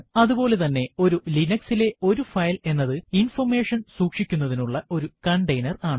അതുപോലെ തന്നെ ഒരു ലിനക്സ് ലെ ഒരു ഫയൽ എന്നത് ഇൻഫർമേഷൻ സൂക്ഷിക്കുന്നതിനുള്ള ഒരു കണ്ടെയ്നർ ആണ്